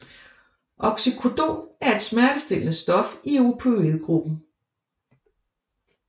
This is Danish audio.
Oxycodon er et smertestillende stof i opioid gruppen